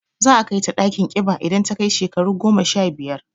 Za a kai ta ɗakin ƙiba idan ta kai shekaru goma sha biyar.